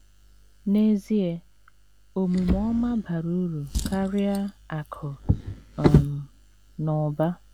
N’ezie, omume ọma bara uru karịa akụ̀ um na ụba.